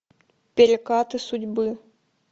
перекаты судьбы